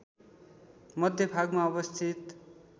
मध्य भागमा अवस्थित